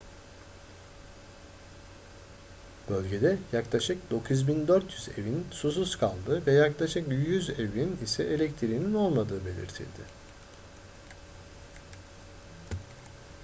bölgede yaklaşık 9400 evin susuz kaldığı ve yaklaşık 100 evin ise elektriğinin olmadığı belirtildi